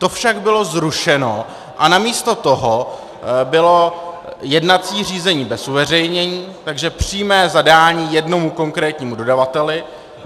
To však bylo zrušeno a namísto toho bylo jednací řízení bez uveřejnění, takže přímé zadání jednomu konkrétnímu dodavateli.